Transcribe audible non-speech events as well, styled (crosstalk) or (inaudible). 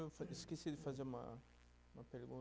(unintelligible) Esqueci de fazer uma uma pergunta.